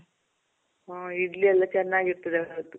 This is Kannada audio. ಹಾ, ಇಡ್ಲಿ ಎಲ್ಲ ಚೆನ್ನಾಗಿರ್ತದೆ ಅವತ್ತು.